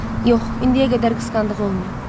Yox, indiyə qədər qısqandığı olmayıb.